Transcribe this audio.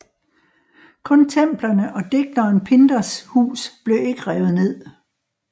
Kun templerne og digteren Pindars hus blev ikke revet ned